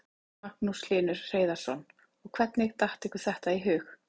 Magnús Hlynur Hreiðarsson: Og hvernig datt ykkur þetta í hug?